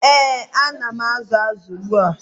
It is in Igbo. ee,A na m azụ azụ ugbu a.